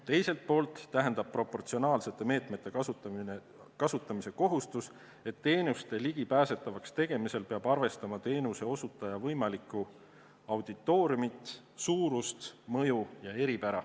Teiselt poolt tähendab proportsionaalsete meetmete kasutamise kohustus, et teenuste ligipääsetavaks tegemisel peab teenuseosutaja arvestama võimalikku auditooriumi suurust, mõju ja eripära.